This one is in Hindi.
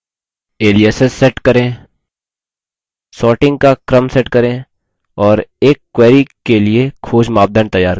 aliases set करें